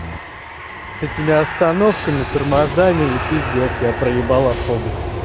с этими остановками тормозами и пиздец я проебал автобус